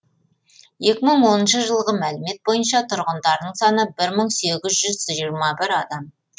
екі мың оныншы жылғы мәліметтер бойынша тұрғындарының саны бір мың сегіз жүз жиырма бір адамды құрайды